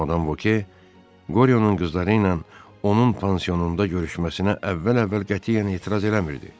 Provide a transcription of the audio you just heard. Madam Voke Qoryonun qızları ilə onun pansionunda görüşməsinə əvvəl-əvvəl qətiyyən etiraz eləmirdi.